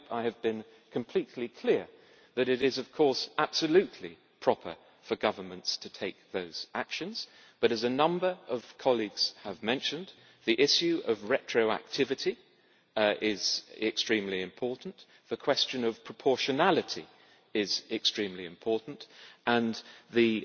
I hope I have been completely clear, that it is, of course, absolutely proper for governments to take those actions but, as a number of colleagues have mentioned, the issue of retroactivity is extremely important, the question of proportionality is extremely important and the